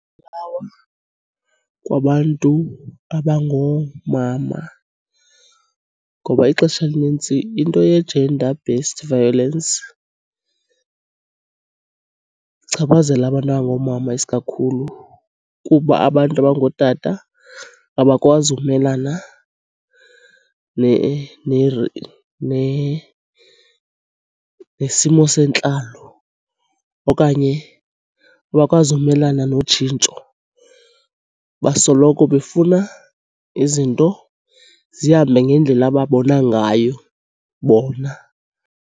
kwabantu abangoomama ngoba ixesha elinintsi into ye-gender-based violence ichaphazela abantu abangoomama isikakhulu. Kuba abantu abangootata abakwazi ukumelana nesimo sentlalo okanye abakwazi umelana notshintsho, basoloko befuna izinto zihambe ngendlela ababona ngayo bona.